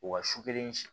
O ka su kelen si